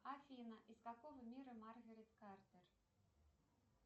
афина из какого мира маргарет картер